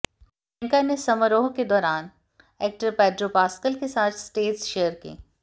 प्रियंका ने समारोह के दौरान एक्टर पैड्रो पास्कल के साथ स्टेज शेयर की